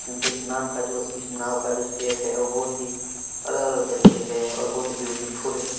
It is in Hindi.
क्योंकि इस नाम का जो-- इस नाव का जो शेप है वो बहुत ही अलग-अलग तरीके से है और बहुत ही ब्यूटीफुल है।